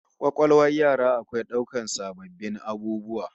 Kwakwalwar yara akwai daukar sabbin abubuwa